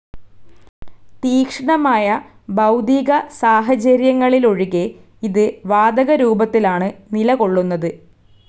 തീക്ഷ്ണമായ ഭൗതിക സാഹചര്യങ്ങളിലൊഴികെ ഇത് വാതകരൂപത്തിലാണ് നിലകൊള്ളുന്നത്.